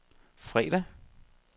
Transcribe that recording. fredag